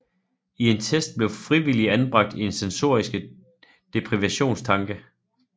I en test blev frivillige anbragt i sensoriske deprivationstanke